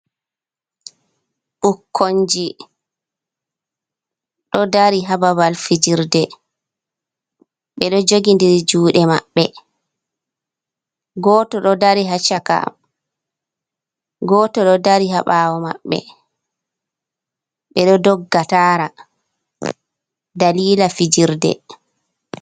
Ɓukkonji. Ɗo dari hababal fijirde, bedo jogi diri jude maɓɓe, goto ɗo dari ha chaka, goto do dari habawo mabbe bedo dogga tara dalila fijirde.